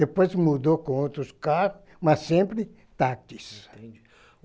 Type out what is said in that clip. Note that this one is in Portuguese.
Depois mudou com outros carros, mas sempre táxis. Entendi.